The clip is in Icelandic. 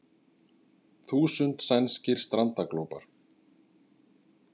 Þúsund sænskir strandaglópar